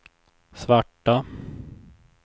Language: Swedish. svarta